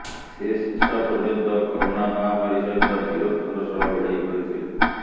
ସେ ଶେଷ ପର୍ଯ୍ୟନ୍ତ କରୋନା ମହାମାରୀ ସହିତ ବୀରତ୍ୱର ସହ ଲଢ଼େଇ କରିଥିଲେ